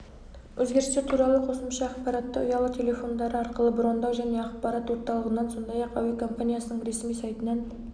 өзгерістер туралы қосымша ақпаратты ұялы тел телефондары арқылы брондау және ақпарат орталығынан сондай-ақ әуекомпаниясының ресми сайтынан